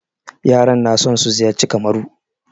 Yaran na son su ziyarci Kamaru.